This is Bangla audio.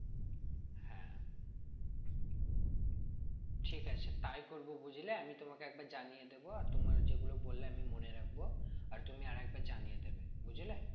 ঠিক আছে তাই করবো বুঝলে আমি তোমাকে একবার জানিয়ে দেব আর তোমার যেগুলো বললে আমি মনে রাখবো আর তুমি আরেকবার জানিয়ে দেবে বুঝলে?